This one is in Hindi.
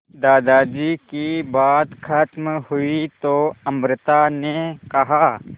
दादाजी की बात खत्म हुई तो अमृता ने कहा